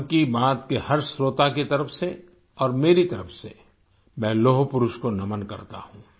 मन की बात के हर श्रोता की तरफ से और मेरी तरफ से मैं लौहपुरुष को नमन करता हूँ